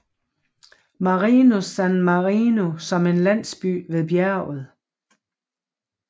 Marinus San Marino som en landsby ved bjerget